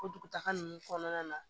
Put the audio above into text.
O dugutaga ninnu kɔnɔna na